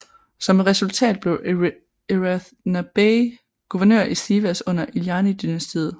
Som et resultat blev Eratna Bey guvernør i Sivas under İlhanlı dynastiet